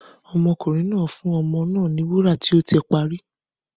Ọmọkùnrin náà fún ọmọ náà ní wàrà tí ó ti parí.